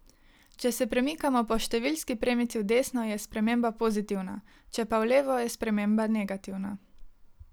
Če se premikamo po številski premici v desno, je sprememba pozitivna, če pa v levo, je sprememba negativna.